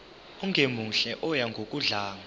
ongemuhle oya ngokudlanga